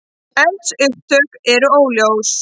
Eldsupptök eru óljós